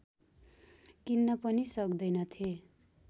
किन्न पनि सक्दैनथे